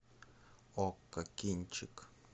окко кинчик